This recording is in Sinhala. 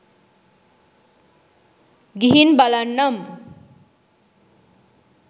ගිහින් බලන්නම්!